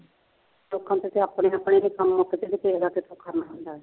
ਲੋਕਾਂ ਦੇ ਤਾਂ ਆਪਣੇ ਆਪਣੇ ਕੰੰਮ ਨਹੀਂ ਮੁੱਕਦੇ ਅਤੇ ਤੇਰਾ ਕਿੱਥੋਂ ਕਰਨਾ